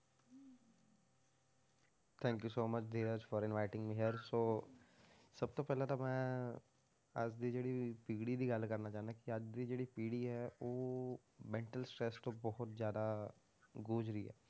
Thank you so much Dheeraj for inviting me here so ਸਭ ਤੋਂ ਪਹਿਲਾਂ ਤਾਂ ਮੈਂ ਅੱਜ ਦੀ ਜਿਹੜੀ ਪੀੜ੍ਹੀ ਦੀ ਗੱਲ ਕਰਨਾ ਚਾਹੁਨਾ ਕਿ ਅੱਜ ਦੀ ਜਿਹੜੀ ਪੀੜ੍ਹੀ ਹੈ ਉਹ mental stress ਤੋਂ ਬਹੁਤ ਜ਼ਿਆਦਾ ਗੂਜ ਰਹੀ ਹੈ,